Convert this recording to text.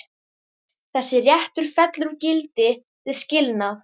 Þessi réttur fellur úr gildi við skilnað.